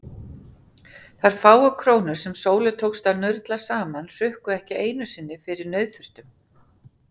Þær fáu krónur sem Sólu tókst að nurla saman hrukku ekki einu sinni fyrir nauðþurftum.